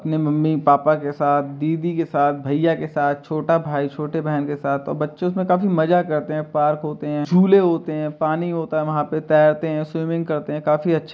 अपने mummy papa के साथ दीदी के साथ भैया के साथ छोटा भाई छोटे बहन के साथ और बच्चे काफ़ी मज़ा करते हैं पार्क होते हैं झूले होते हैं पानी होता है वहाॅं पे तैरते हैं स्वमिंनिंग करते हैं काफी अच्छा --